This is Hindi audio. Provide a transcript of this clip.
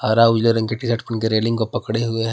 हरा उजले रंग के टीशर्ट रेलिंग को पकड़े हुए है।